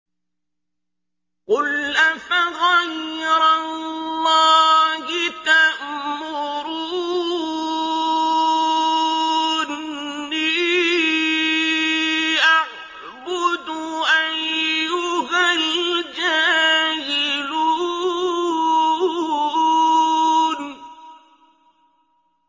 قُلْ أَفَغَيْرَ اللَّهِ تَأْمُرُونِّي أَعْبُدُ أَيُّهَا الْجَاهِلُونَ